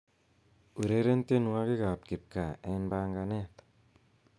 ureren tienywogikab kipgaa en panganet